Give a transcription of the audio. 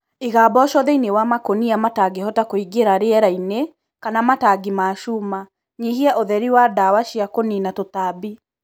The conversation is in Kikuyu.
Iga mboco thĩinĩ wa makonia matangĩhota kũingĩra rĩera-inĩ kana matangi ma cũma nyihia ũhũtheri wa ndawa cia kũniina tũtambi.